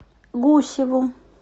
гусеву